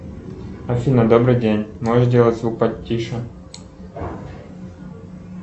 афина добрый день можешь сделать звук потише